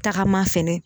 Tagama fɛnɛ